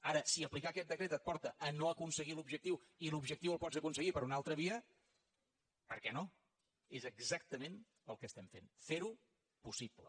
ara si aplicar aquest decret et porta a no aconseguir l’objectiu i l’objectiu el pots aconseguir per una altra via per què no és exactament el que estem fent ferho possible